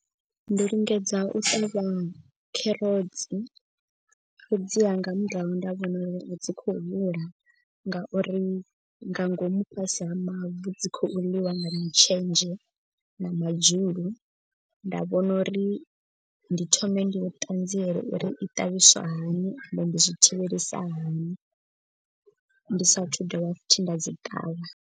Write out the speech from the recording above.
Ndo lingedza u ṱavha kherotsi fhedzi ha nga murahu nda vhona uri. A dzi khou hula ngauri nga ngomu fhasi ha mavu dzi khou ḽiwa nga mutshenzhe na madzhulu. Nda vhona uri ndi thome ndi ṱanziele uri i ṱavhiswa hani ende ndi zwi thivhelisa hani. Ndi sathu dovha futhi nda dzi ṱavha.